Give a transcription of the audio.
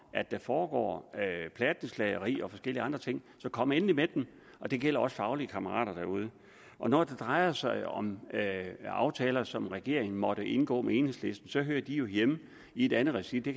at der foregår plattenslageri og forskellige andre ting så kom endelig med dem og det gælder også faglige kammerater derude når det drejer sig om aftaler som regeringen måtte indgå med enhedslisten så hører de jo hjemme i et andet regi det